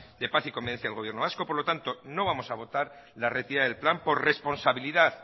de paz y convivencia del gobierno vasco por lo tanto no vamos a votar la retirada del plan por responsabilidad